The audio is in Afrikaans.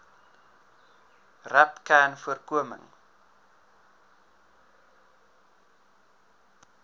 rapcanvoorkoming